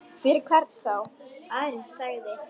Fyrir hvern þá?